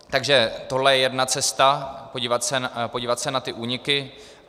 Takže tohle je jedna cesta, podívat se na ty úniky.